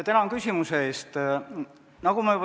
Tänan küsimuse eest!